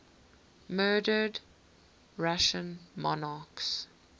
murdered russian monarchs